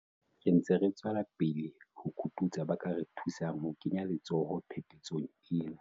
Re ntse re tswela pele ho kototsa ba ka re thusang ho kenya letsoho phephetsong ena.